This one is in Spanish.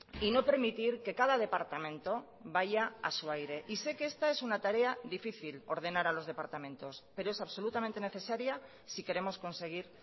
y no permitir que cada departamento vaya a su aire y sé que esta es una tarea difícil ordenar a los departamentos pero es absolutamente necesaria si queremos conseguir